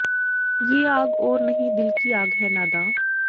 ਯੇ ਆਗ ਔਰ ਨਹੀਂ ਦਿਲ ਕੀ ਆਗ ਹੈ ਨਾਦਾਂ